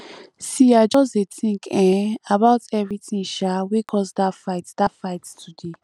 see i just dey tink um about everytin um wey cause dat fight dat fight today